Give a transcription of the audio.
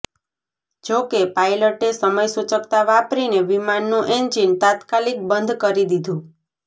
જો કે પાયલટે સમયસૂચક્તા વાપરીને વિમાનનું એન્જિન તાત્કાલિક બંધ કરી દીધું